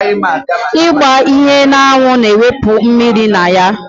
Ịgba ihe n'anwụ na-ewụpụ mmiri na ya